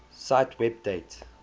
cite web date